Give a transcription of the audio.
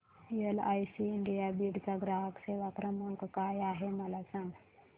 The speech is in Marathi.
एलआयसी इंडिया बीड चा ग्राहक सेवा क्रमांक काय आहे मला सांग